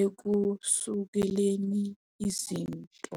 ekusukeleni izinto.